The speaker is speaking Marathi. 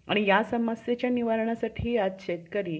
आणि ह्यामुळे overall development होते.